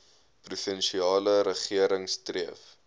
provinsiale regering streef